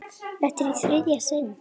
Þetta er í þriðja sinn.